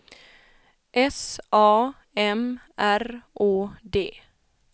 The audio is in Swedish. S A M R Å D